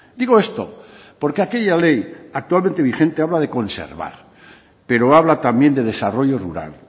digo esto porque aquella ley actualmente vigente habla de conservar pero habla también de desarrollo rural